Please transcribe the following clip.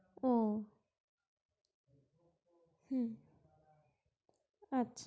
ও হু আচ্ছা